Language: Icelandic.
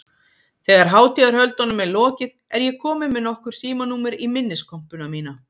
Þegar hátíðarhöldunum er lokið er ég komin með nokkur símanúmer í minniskompuna mína.